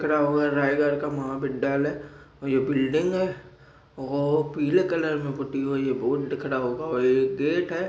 रायगढ़ का महाविद्यालय और यह बिल्डिंग है ओ पिले कलर मे पुती हुई है बोर्ड दिख रहा होगा और ये एक गेट है।